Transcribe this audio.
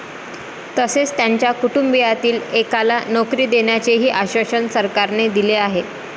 तसेच त्यांच्या कुटुंबातील एकाला नोकरी देण्याचेही आश्वासन सरकारने दिले आहे.